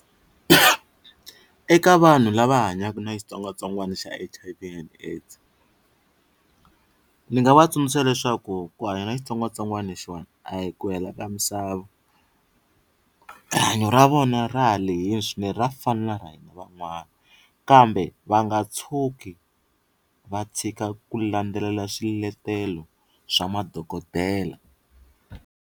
Eka vanhu lava hanyaku na xitsongwatsongwana xa H_I_V and AIDS ni nga va tsundzuxa leswaku ku hanya na xitsongwatsongwana lexiwana a hi ku hela ka misava rihanyo ra vona ra ha lehile swinene ra fana na ra hina van'wana kambe va nga tshuki va tshika ku landzelela swiletelo swa madokodela.